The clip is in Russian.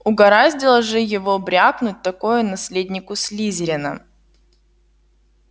угораздило же его брякнуть такое наследнику слизерина